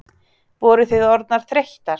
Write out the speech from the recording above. Voru þið orðnar þreyttar?